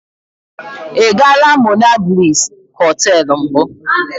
I gaala monablis hoteelu mbụ.